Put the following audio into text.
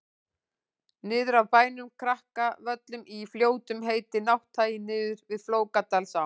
niður af bænum krakavöllum í fljótum heitir nátthagi niður við flókadalsá